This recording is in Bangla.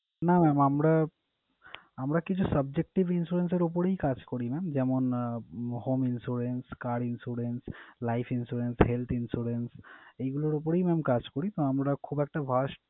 না mam আমরা আমরা কিছু subjective insurance এর উপরেই কাজ করি mam । যেমন ah home insurance, car insurance, life insurance, health insurance এইগুলোর উপরেই mam কাজ করি। আমরা খুব একটা verse